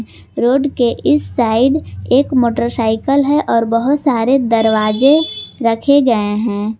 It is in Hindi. रोड के इस साइड एक मोटरसाइकल है और बहोत सारे दरवाजे रखे गए हैं।